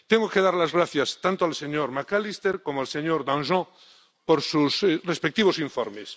Tengo que dar las gracias tanto al señor McAllister como al señor Danjean por sus respectivos informes.